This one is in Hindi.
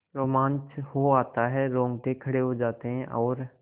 रोमांच हो आता है रोंगटे खड़े हो जाते हैं और